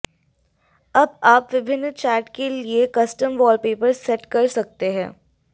अब आप विभिन्न चैट के लिए कस्टम वॉलपेपर सेट कर सकते हैं